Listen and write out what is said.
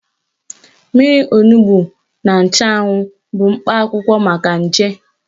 Mmiri onugbo na nchụanwụ bụ mkpa akwụkwọ maka nje.